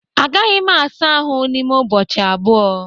Agaghị m asa ahụ n'ime ụbọchị abụọ